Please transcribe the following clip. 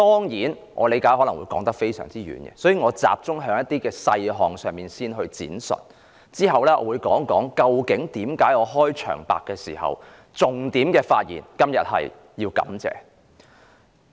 為免把話題扯遠，我會先集中在某些細項上闡述，之後我會再談談，為何我今天開場白的發言重點是"感謝"。